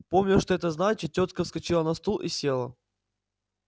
помня что это значит тётка вскочила на стул и села